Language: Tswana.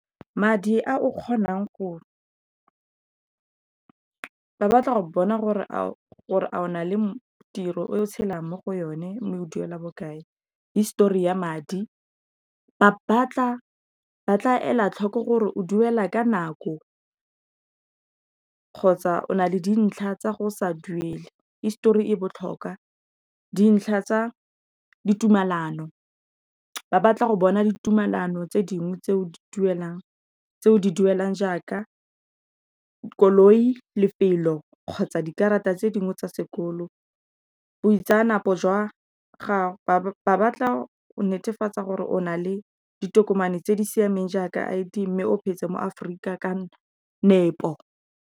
Madi a o kgonang go bona o na le tiro o tshelang mo go yone, o duela bokae, histori ya madi, ba tla ela tlhoko gore o duela ka nako kgotsa o na le dintlha tsa go sa duele. Histori e botlhokwa, dintlha tsa ditumalano, ba batla go bona ditumalano tse dingwe di tseo di duelang jaaka koloi, lefelo kgotsa dikarata tse dingwe tsa sekolo ba batla go netefatsa gore o na le ditokomane tse di siameng jaaka I_D, mme o petse mo Aforika ka nepo.